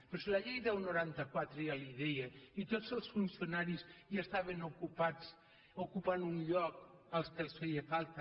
però si la llei deu noranta quatre ja li ho deia i tots els funcionaris estaven ocupant un lloc el que els feia falta